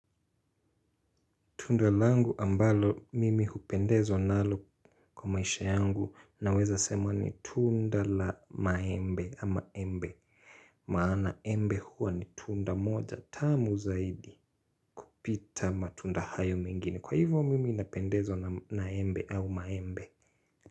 Tunda langu ambalo mimi hupendezwa nalo kwa maisha yangu naweza sema ni tunda la maembe ama embe. Maana embe huwa ni tunda moja tamu zaidi kupita matunda hayo mengine. Kwa hivyo mimi napendezwa na embe au maembe.